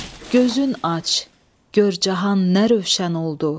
Gözün aç, gör cahan nə rövşən oldu.